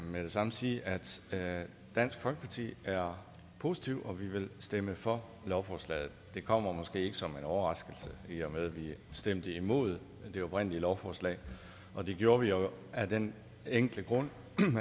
med det samme sige at dansk folkeparti er positive og at vi vil stemme for lovforslaget det kommer måske ikke som en overraskelse i og med at vi stemte imod det oprindelige lovforslag og det gjorde vi jo af den enkle grund